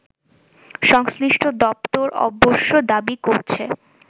সংশ্লিষ্ট দপ্তর অবশ্য দাবি করছে